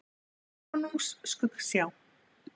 Konungs Skuggsjá.